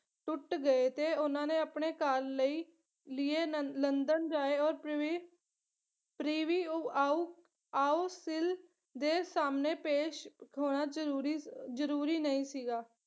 ਟੁੱਟ ਗਏ ਤੇ ਉਹਨਾਂ ਨੇ ਆਪਣੇ ਘਰ ਲਈ ਲੀਏ ਲੰ ਲੰਡਨ ਜਾਏ ਔਰ ਪਰੀਵੀ preview ਆਊ ਆਉਸਫਿਲ ਦੇ ਸਾਹਮਣੇ ਪੇਸ਼ ਹੋਣਾ ਜਰੂਰੀ ਜਰੂਰੀ ਨਹੀਂ ਸੀਗਾ